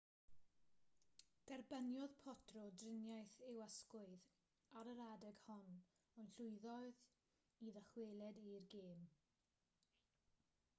derbyniodd potro driniaeth i'w ysgwydd ar yr adeg hon ond llwyddodd i ddychwelyd i'r gêm